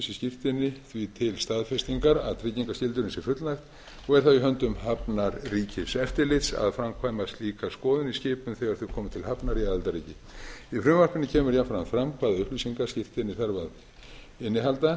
skírteini því til staðfestingar að tryggingarskyldunni sé fullnægt og er það á höndum hafnarríkiseftirlits að framkvæma slíka skoðun í skipum þegar þau koma til hafnar í aðildarríki í frumvarpinu kemur jafnframt fram hvaða upplýsingar skírteini þarf að innihalda